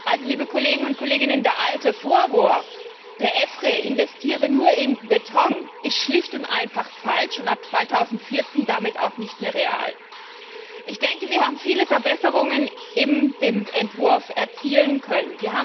Also der alte Vorwurf, der EFRE investiere nur in Beton, ist schlicht und einfach falsch und ab 2014 damit auch nicht mehr real! Ich denke, wir haben viele Verbesserungen in dem Entwurf erzielen können.